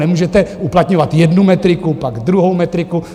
Nemůžete uplatňovat jednu metriku, pak druhou metriku.